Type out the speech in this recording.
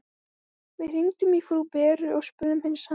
Við hringdum í frú Beru og spurðum hins sama.